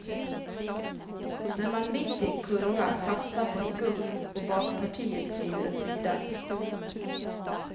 När man mitt i en kurva fastnar på ett gupp och bakpartiet glider åt sidan.